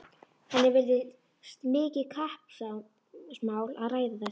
Henni virðist mikið kappsmál að ræða þetta.